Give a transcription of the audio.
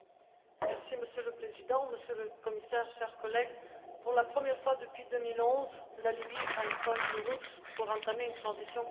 Monsieur le Président, Monsieur le Commissaire, chers collègues, pour la première fois depuis 2011, la Libye a une feuille route pour entamer une transition complète.